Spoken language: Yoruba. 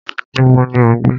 Níbo ni o ń gbé?